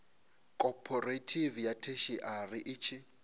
khophorethivi ya theshiari i tshi